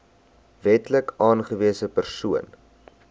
wetlik aangewese persoon